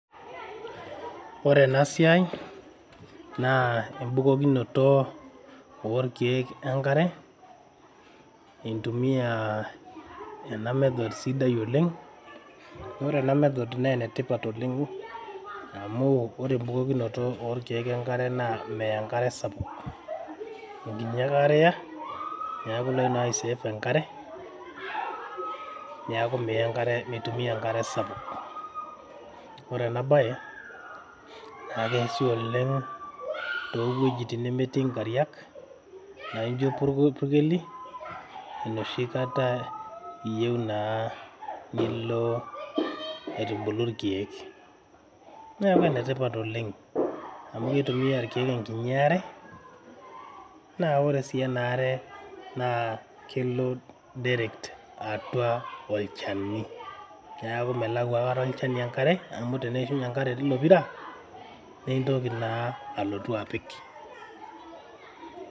Ore ena siai naa ebukokinoto oo ilkiek enkare intumia ena method sidai oleng'. Amu ore ena method naa enetipat oleng' amu ore ebukokinoto oo ilkiek enkare naa meya enkare sapuk. Enkiti are ake eya niaku ilo naa ai save enkare. Niaku miya enkare mintumia enkare sapuk. Ore ena baye naa keasi oleng' too wuejitin nemetii nkariak naijo ilpurkeli enoshi kata iyieu naa nilo aitubulu ilkiek. Niaku enetipat oleng' amu kitumia ilkiek enkinyi are naa ore sii enaare naa kelo direct atua olchani. Niaku melau aikata olchani enkare amu teneishunye enkare tilo pira nintoki naa alotu apik.